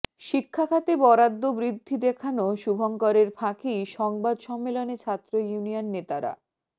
শিক্ষা খাতে বরাদ্দ বৃদ্ধি দেখানো শুভঙ্করের ফাঁকি সংবাদ সম্মেলনে ছাত্র ইউনিয়ন নেতারা